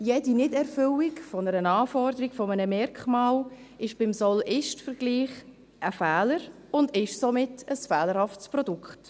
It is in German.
Jede Nichterfüllung einer Anforderung eines Merkmals ist beim Soll-Ist-Vergleich ein Fehler und ist somit ein fehlerhaftes Produkt.